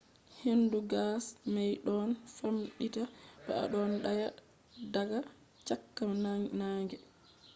hendu gas may ɗon famɗita to a ɗon daya daga cakka naange